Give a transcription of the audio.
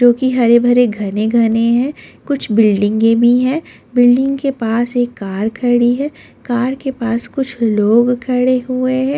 जो कि हरे भरे घने घने हैं कुछ बिल्डिंगें भी हैं बिल्डिंग के पास एक कार खड़ी है कार के पास कुछ लोग खड़े हुए हैं।